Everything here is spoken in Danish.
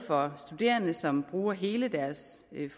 for studerende som bruger hele deres